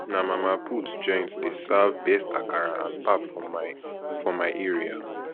na mama put joint dey serve best akara and pap for my for my area